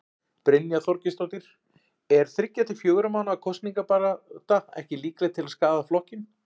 Brynja Þorgeirsdóttir: Er þriggja til fjögurra mánaða kosningabarátta ekki líkleg til að skaða flokkinn?